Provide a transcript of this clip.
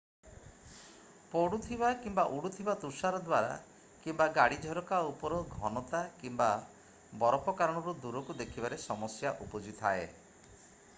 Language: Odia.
ପଡ଼ୁଥିବା କିମ୍ୱା ଉଡ଼ୁଥିବା ତୁଷାର ଦ୍ୱାରା କିମ୍ୱା ଗାଡ଼ି ଝରକା ଉପର ଘନତା କିମ୍ୱା ବରଫ କାରଣରୁ ଦୂରକୁ ଦେଖିବାରେ ସମସ୍ୟା ଉପୁଜିଥାଏ